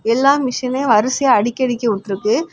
எல்லா மிஷினையும் வரிசையா அடுக்கி அடுக்கி உட்ருக்கு.